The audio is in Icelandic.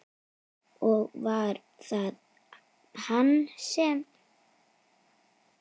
Og var það hann sem.?